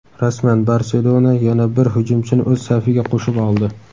Rasman: "Barselona" yana bir hujumchini o‘z safiga qo‘shib oldi.